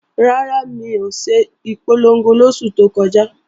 Rárá, mi ò ṣe ìpolongo lóṣù tó kọjá